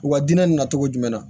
U ka dinɛ na cogo jumɛn na